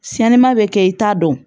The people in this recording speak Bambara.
Siɲɛnima bɛ kɛ i t'a dɔn